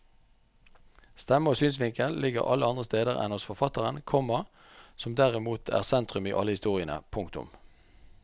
Stemme og synsvinkel ligger alle andre steder enn hos forfatteren, komma som derimot er sentrum i alle historiene. punktum